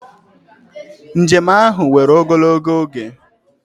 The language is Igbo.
Njem ahụ were ogologo oge.